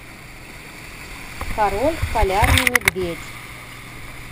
король полярный медведь